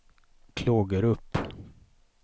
Klågerup